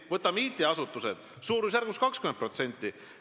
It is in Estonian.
Või võtame IT-asutused, kelle puhul on suurusjärk 20%.